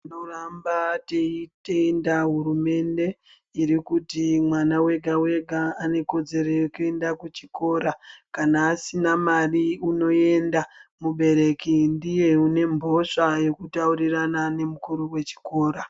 Tinoramba teitenda hurumende irikuti mwana wega wega anekodzero yekuenda kuchikora kana asina mari unoenda mubereki ndiye une mhosva yekutaurirana nemukuru wechikora .